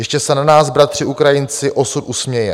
Ještě se na nás, bratři Ukrajinci, osud usměje.